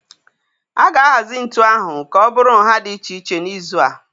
A ga-ahazi ntu ahụ ka ọ bụrụ nha dị iche iche n'izu a